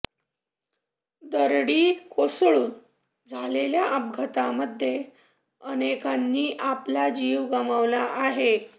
दरडी कोसळून झालेल्या अपघातांमध्ये अनेकांनी आपला जीव गमावला आहे